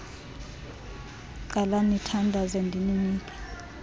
qalani nithandaze ndininika